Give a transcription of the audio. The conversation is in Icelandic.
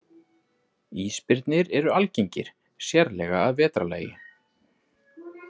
Ísbirnir eru algengir, sérlega að vetrarlagi.